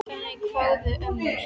Þannig kváðu ömmur.